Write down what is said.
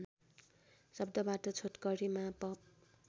शब्दबाट छोटकरिमा पप